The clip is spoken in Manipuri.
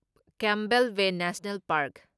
Campbell Bay National park